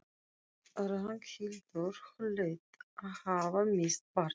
Ragnhildur hlaut að hafa misst barn.